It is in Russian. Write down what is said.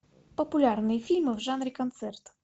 популярные фильмы в жанре концерт